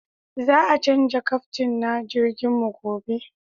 Za a canja kaftin na jirgin mu gobe